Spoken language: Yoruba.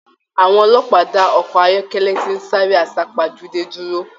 Àwọn ọlọ́pàá da ọkọ ayọkẹlẹ ti n sáré asapajude dúró.